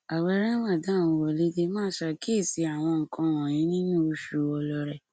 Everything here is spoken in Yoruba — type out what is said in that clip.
ààwẹ ramadan wọlé dé máa ṣàkíyèsí àwọn nǹkan wọnyí nínú oṣù ọlọrẹ